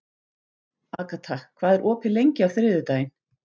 Agata, hvað er opið lengi á þriðjudaginn?